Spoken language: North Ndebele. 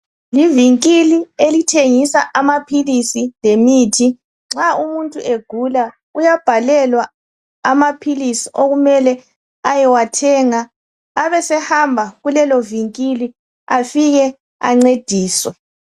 Iivinkili elithengisa amaphilisi lemithi nxa umuntu egula, uyabhalelwa amaphilisi okumele ayewathenga abese hamba kulelo vinkili afike ancediswe.